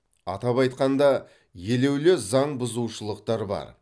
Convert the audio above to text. атап айтқанда елеулі заңбұзушылықтар бар